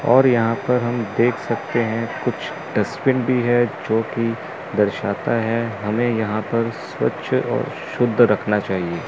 और यहां पर हम देख सकते हैं कुछ डस्टबिन भी है जो की दर्शाता है हमे यहां पर स्वच्छ और शुद्ध रखना चाहिए।